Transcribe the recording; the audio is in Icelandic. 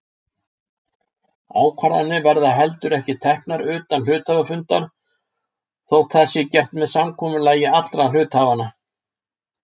Ákvarðanir verða heldur ekki teknar utan hluthafafundar þótt það sé gert með samkomulagi allra hluthafanna.